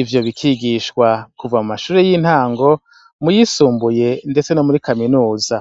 ivyo bikigishwa kuva mu mashure y'intango mu yisumbuye ndetse no muri Kaminuza.